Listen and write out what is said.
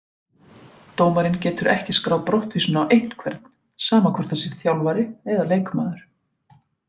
Dómarinn getur ekki skráð brottvísun á einhvern, sama hvort það sé þjálfari eða leikmaður.